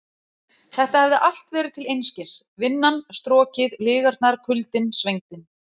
Þetta hafði allt verið til einskis: Vinnan, strokið, lygarnar, kuldinn, svengdin.